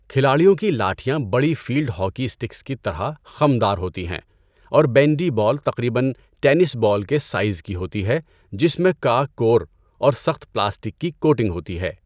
کھلاڑیوں کی لاٹھیاں بڑی فیلڈ ہاکی اسٹکس کی طرح خم دار ہوتی ہیں اور بینڈی بال تقریباً ٹینس بال کے سائز کی ہوتی ہے جس میں کارک کور اور سخت پلاسٹک کی کوٹنگ ہوتی ہے۔